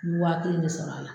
I bɛ waati in de sɔrɔ a la